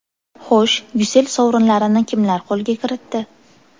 Xo‘sh, Ucell sovrinlarini kimlar qo‘lga kiritdi?